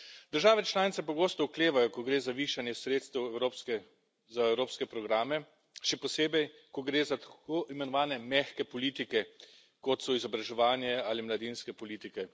Države članice pogosto oklevajo, ko gre za višanje sredstev za evropske programe, še posebej, ko gre za tako imenovane mehke politike, kot so izobraževanje ali mladinske politike.